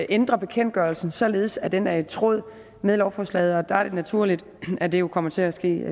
ændre bekendtgørelsen således at den er i tråd med lovforslaget og der er det naturligt at det jo kommer til at ske